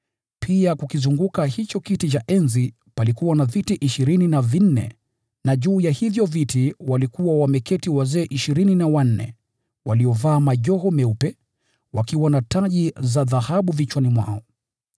Kukizunguka hicho kiti cha enzi palikuwa na viti vingine vya enzi ishirini na vinne, na juu ya hivyo viti walikuwa wameketi wazee ishirini na wanne. Walivaa mavazi meupe, na walikuwa na taji za dhahabu vichwani mwao.